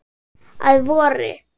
Að vori.